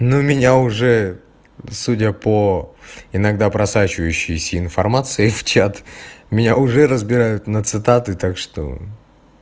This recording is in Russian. ну меня уже судя по иногда просачивающейся информации в чат меня уже разбирают на цитаты так что